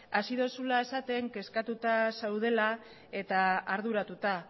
hasi duzula esaten kezkatuta zaudela eta arduratuta